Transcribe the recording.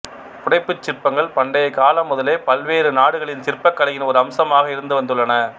புடைப்புச் சிற்பங்கள் பண்டைக் காலம் முதலே பல்வேறு நாடுகளின் சிற்பக்கலையின் ஒரு அம்சமாக இருந்து வந்துள்ளன